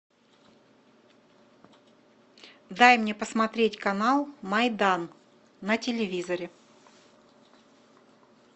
дай мне посмотреть канал майдан на телевизоре